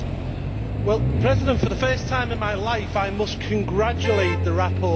Mr President, for the first time in my life I must congratulate the rapporteur.